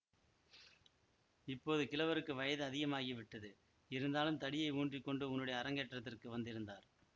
இப்போது கிழவருக்கு வயது அதிகமாகிவிட்டது இருந்தாலும் தடியை ஊன்றிக்கொண்டு உன்னுடைய அரங்கேற்றத்துக்கு வந்திருந்தார்